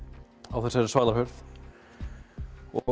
á þessari svalahurð og